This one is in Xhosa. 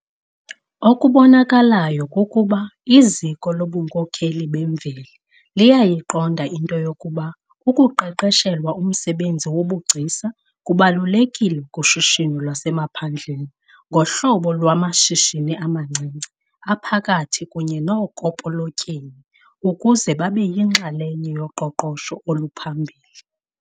Okubonakalayo kukuba iziko lobunkokheli bemveli liyayiqonda into yokuba ukuqeqeshelwa umsebenzi wobugcisa kubalulekile kushishino lwasemaphandleni ngohlobo lwamashishini amancinci, aphakathi kunye nookopolotyeni ukuze babe yinxalenye yoqoqosho oluphambili.